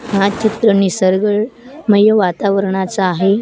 हा चित्र निसर्ग मय वातावरणाचा आहे.